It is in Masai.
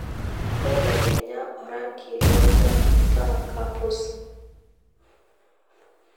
belekenya orangi lontaa metaa kapuz